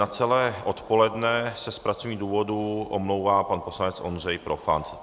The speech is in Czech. Na celé odpoledne se z pracovních důvodů omlouvá pan poslanec Ondřej Profant.